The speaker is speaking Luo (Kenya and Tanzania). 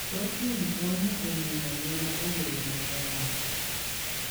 Thoth winy konyo e miyo ngima obed maber.